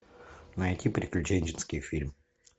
найти приключенческий фильм